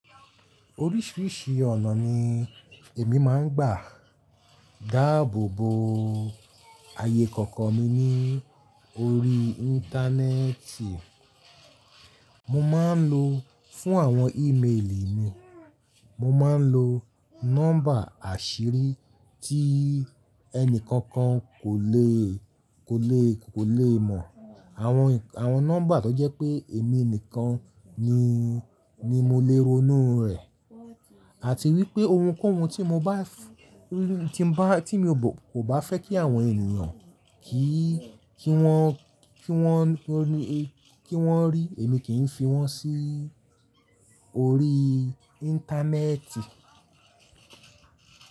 Oríṣìíríṣìí ọ̀nà ni èmi máa ń gbà dáàbò bo ayé kọ̀ọ̀kan mi ní orí Íńtánẹ́ẹ̀tì. Mo máa ń lo fún àwọn ímeèlì mi, mo máa ń lo nọ́mbà àṣírí tí ẹni kankan kò lè, kò lè, kò lè mọ̀. Àwọn, àwọn nọ́mbà tó jẹ́ pé èmi nìkan ni, ni mo lè ronú rẹ̀. Àti wípé ohunkóhun tí mo bá f-- tí mo bá, tí mo kò bá fẹ́ kí àwọn ènìyàn kí, kí wọ́n, kí wọ́n, kí wọ́n rí èmi kì í fi wọ́n sí orí Íńtánẹ́ẹ̀tì.